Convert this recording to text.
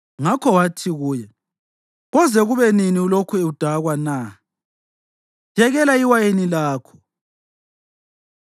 ngakho wathi kuye, “Koze kube nini ulokhu udakwa na? Yekela iwayini lakho.”